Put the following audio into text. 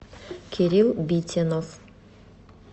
кирилл битинов